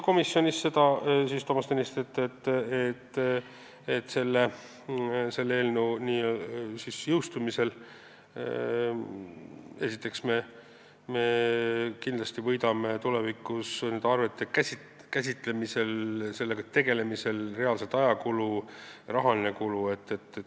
Komisjonis nentis Toomas Tõniste ka seda, et eelnõu seadusena jõustumise korral me esiteks kindlasti võidame tulevikus nende arvete käsitlemisel reaalselt aega ja väheneb rahaline kulu.